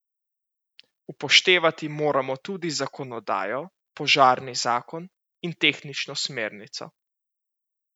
Upoštevati moramo tudi zakonodajo, požarni zakon in tehnično smernico.